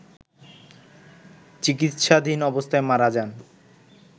চিকিৎসাধীন অবস্থায় মারা যান